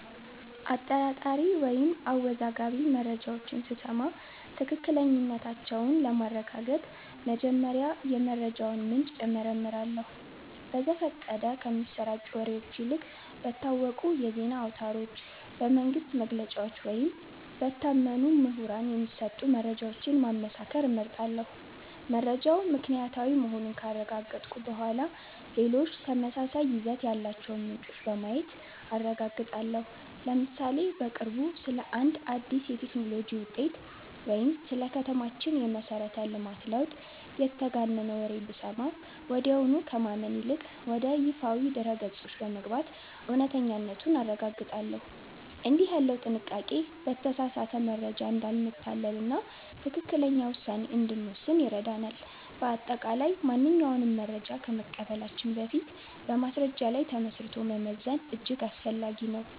አጠራጣሪ ወይም አወዛጋቢ መረጃዎችን ስሰማ ትክክለኛነታቸውን ለማረጋገጥ መጀመሪያ የመረጃውን ምንጭ እመረምራለሁ። በዘፈቀደ ከሚሰራጩ ወሬዎች ይልቅ በታወቁ የዜና አውታሮች፣ በመንግሥት መግለጫዎች ወይም በታመኑ ምሁራን የሚሰጡ መረጃዎችን ማመሳከር እመርጣለሁ። መረጃው ምክንያታዊ መሆኑን ካረጋገጥኩ በኋላ፣ ሌሎች ተመሳሳይ ይዘት ያላቸውን ምንጮች በማየት አረጋግጣለሁ። ለምሳሌ፦ በቅርቡ ስለ አንድ አዲስ የቴክኖሎጂ ውጤት ወይም ስለ ከተማችን የመሠረተ ልማት ለውጥ የተጋነነ ወሬ ብሰማ፣ ወዲያውኑ ከማመን ይልቅ ወደ ይፋዊ ድረ-ገጾች በመግባት እውነተኛነቱን አረጋግጣለሁ። እንዲህ ያለው ጥንቃቄ በተሳሳተ መረጃ እንዳንታለልና ትክክለኛ ውሳኔ እንድንወስን ይረዳናል። በአጠቃላይ፣ ማንኛውንም መረጃ ከመቀበላችን በፊት በማስረጃ ላይ ተመስርቶ መመዘን እጅግ አስፈላጊ ነው።